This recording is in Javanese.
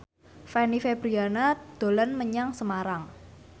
Fanny Fabriana dolan menyang Semarang